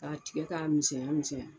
K'a tigɛ k'a misɛnya misɛnya.